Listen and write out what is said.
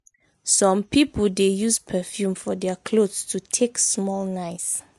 some pipo de use perfume for their clothes to take small nice